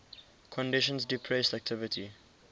conditions depressed activity